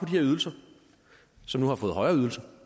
her ydelser og som nu har fået højere ydelser